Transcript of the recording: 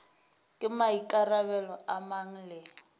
ke maikarabelo a mang le